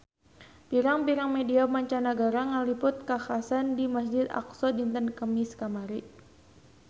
Pirang-pirang media mancanagara ngaliput kakhasan di Masjid Aqsa dinten Kemis kamari